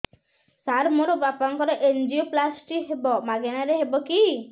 ସାର ମୋର ବାପାଙ୍କର ଏନଜିଓପ୍ଳାସଟି ହେବ ମାଗଣା ରେ ହେବ କି